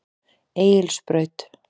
Egilsbraut